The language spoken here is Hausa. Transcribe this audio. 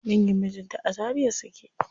Dangin mijinta a Zaria suke.